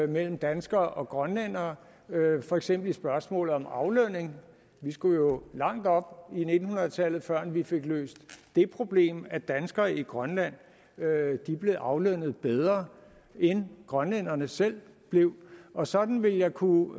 mellem danskere og grønlændere for eksempel i spørgsmålet om aflønning vi skulle jo langt op i nitten hundrede tallet før vi fik løst det problem at danskere i grønland blev aflønnet bedre end grønlænderne selv blev og sådan ville jeg kunne